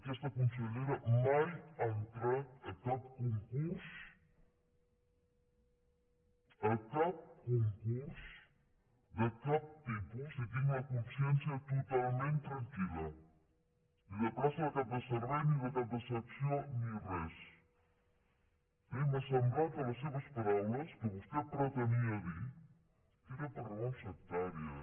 aquesta consellera mai ha entrat a cap concurs a cap concurs de cap tipus i tinc la consciència totalment tranquil·la ni de plaça de cap de servei ni de cap de secció ni res eh i m’ha semblat a les seves paraules que vostè pretenia dir que era per raons sectàries